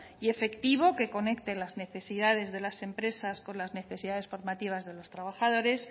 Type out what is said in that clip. y efectivo que conecte las necesidades de las empresas con las necesidades formativas de los trabajadores